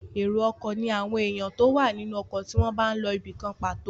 Èrò ọkọ̀ ní àwọn èèyàn tó wà nínú ọkọ̀ tí wọ́n n lọ ibìkan pàtó